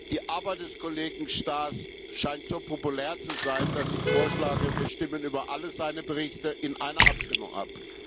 Die Arbeit des Kollegen Staes scheint so populär zu sein, dass ich vorschlage, wir stimmen über alle seine Berichte in einer Abstimmung ab.